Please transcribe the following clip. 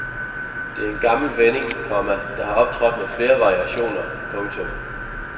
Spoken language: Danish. Det er en gammel vending, komma der har optrådt med flere variationer. punktum